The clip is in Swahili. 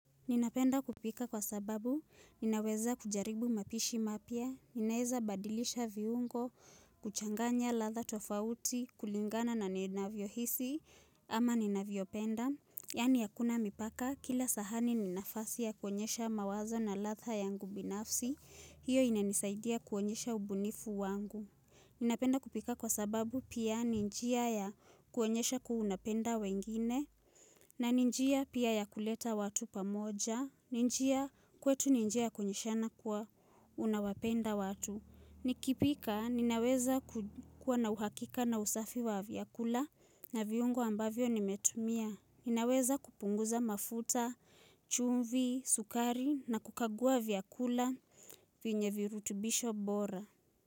Ninapenda kupika kwa sababu, ninaweza kujaribu mapishi mapya, ninaweza badilisha viungo, kuchanganya ladha tofauti, kulingana na ninavyo hisi, ama ninavyopenda. Yaani hakuna mipaka, kila sahani ni nafasi ya kuonyesha mawazo na ladha yangu binafsi, hiyo inanisaidia kuonyesha ubunifu wangu. Ninapenda kupika kwa sababu pia ni njia ya kuonyesha kua unapenda wengine na ni njia pia ya kuleta watu pamoja ni njia, kwetu ni njia ya kuonyeshana kuwa unawapenda watu nikipika ninaweza kuwa na uhakika na usafi wa vyakula na viungo ambavyo nimetumia. Ninaweza kupunguza mafuta, chumvi, sukari na kukagua vyakula venye virutubisho bora.